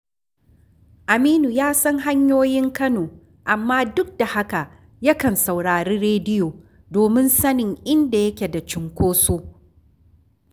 Aminu ya san hanyoyin Kano, amma duk da haka yakan saurari rediyo domin sanin inda yake da cunkoso